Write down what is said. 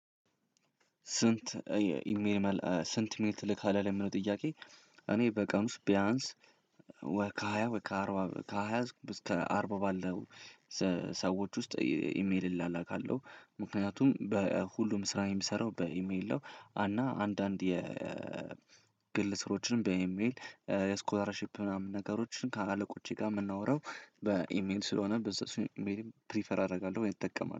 ስንት ኢሜል ትልካለህ ለሚለው ጥያቄ? እኔ በቀን ውስጥ ቢያንስ ከሃያ እስከ አርባ ባለው ሰዎች ውስጥ ኢሜል እላላካለሁ ምክንያቱም በሁሉም ስራ የምሰራው በኢሜል ነው። እና አንዳንድ ስራዎችን በኢሜል የስኮላርሺፕ ምናምን ነገሮችን ከአለቆቼ ጋር የምናወራው በኢሜል ስለሆነ በዛ እሱን ኢሜልም ፕሪፈር አደርጋለሁ እጠቀማለሁ